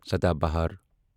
سداہ بہار